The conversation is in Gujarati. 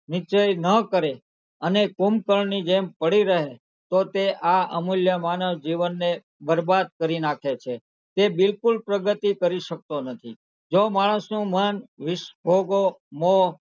નિશ્ચય ન કરે અને કુંભ -કરણની જેમ પડી રહે તો તે આ અમુલ્ય માનવ જીવનને બરબાદ કરી નાખે છે તે બિલકુલ પ્રગતિ કરી શકતો નથી જો માણસનું મન નીશભોગો, મોહ,